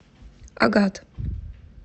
агат